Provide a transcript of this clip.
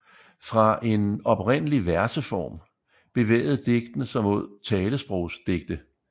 Fra en oprindelig verseform bevægede digtene sig mod talesprogsdigte